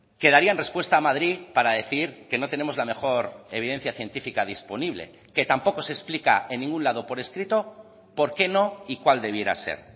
que darían respuesta a madrid para decir que no tenemos la mejor evidencia científica disponible que tampoco se explica en ningún lado por escrito por qué no y cuál debiera ser